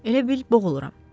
Elə bil boğuluram.